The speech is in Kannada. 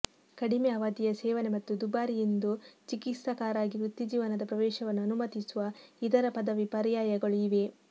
ಕಡಿಮೆ ಅವಧಿಯ ಸೇವನೆ ಮತ್ತು ದುಬಾರಿ ಎಂದು ಚಿಕಿತ್ಸಕರಾಗಿ ವೃತ್ತಿಜೀವನದ ಪ್ರವೇಶವನ್ನು ಅನುಮತಿಸುವ ಇತರ ಪದವಿ ಪರ್ಯಾಯಗಳು ಇವೆ